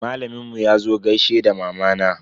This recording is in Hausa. Malamin mu yazo gaishe da mamana.